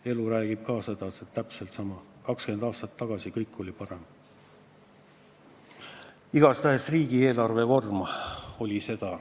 Elu on näidanud, et 20 aastat tagasi oli nii mõnigi asi parem, ka riigieelarve vorm oli parem.